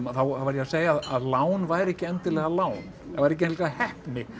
þá var ég að segja að lán væri ekki endilega lán það væri ekki endilega heppni